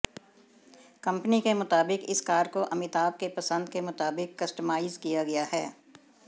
company के मुताबिक इस कार को अमिताभ के पसंद के मुताबिक कस्टमाइज किया गया है